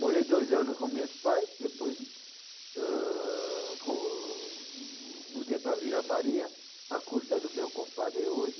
Morei dois anos com meus pais, depois, ãh, com, mudei para Vila Maria, à custa do meu compadre hoje.